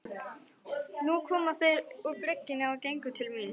Nú komu þeir upp bryggjuna og gengu til mín.